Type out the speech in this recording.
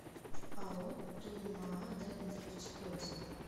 ао туймаада нефть отзывы